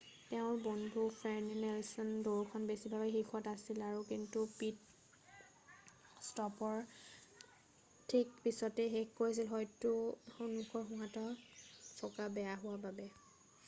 তেওঁৰ বন্ধু Fernando Alonso দৌৰখনৰ বেছিভাগতে শীৰ্ষত আছিল কিন্তু পিত-ষ্টপৰ ঠিক পিছতেই শেষ কৰিছিল হয়তো সন্মুখৰ সোঁহাতৰ চকা বেয়া হোৱা বাবে